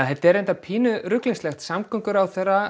þetta er reyndar pínu ruglingslegt samgönguráðherra